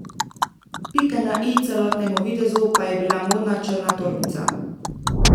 Pika na i celotnemu videzu pa je bila modna črna torbica.